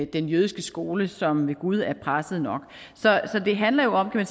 den jødiske skole som ved gud er presset nok så det handler jo om kan